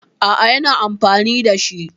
A'a, yana amfani da shi.